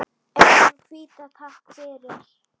Eyjan hvíta, takk fyrir.